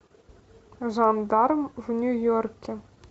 жандарм в нью йорке